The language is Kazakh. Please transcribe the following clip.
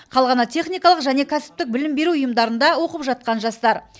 қалғаны техникалық және кәсіптік білім беру ұйымдарында оқып жатқан жастар